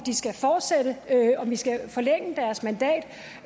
vi skal forlænge deres mandat